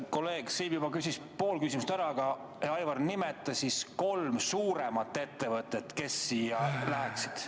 Kolleeg siin küsis pool küsimust ära, aga, Aivar, nimeta siis kolm suuremat ettevõtet, kes siia alla läheksid.